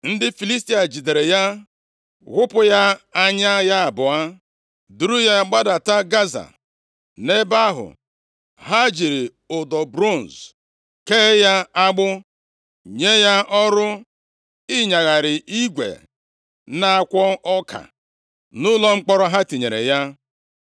Ndị Filistia jidere ya, ghụpụ ya anya ya abụọ, duru ya gbadata Gaza. Nʼebe ahụ, ha jiri ụdọ bronz kee ya agbụ, nye ya ọrụ ịnyagharị igwe na-akwọ ọka nʼụlọ mkpọrọ ha tinyere ya.